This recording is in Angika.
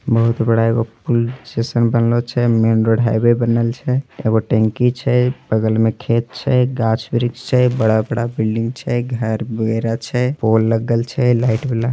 बहुत बड़ा एक पूल जैसन बनल छे मेंन रोड हाईवे बनल छे एगो टंकी छे बगल में खेत छे घाच वृक्ष छे बडा बडा बिल्डिंग छे घर वगेरा छे पोल लगल छे लाइट वाला ।